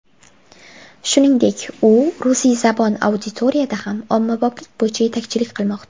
Shuningdek, u rusiyzabon auditoriyada ham ommaboplik bo‘yicha yetakchilik qilmoqda.